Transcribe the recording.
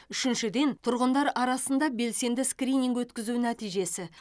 үшіншіден тұрғындар арасында белсенді скрининг өткізу нәтижесі